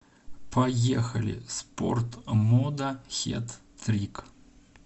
поехали спортмода хет трик